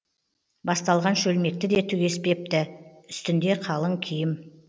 басталған шөлмекті де түгеспепті үстінде қалың киім